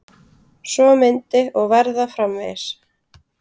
Svo myndi og verða framvegis.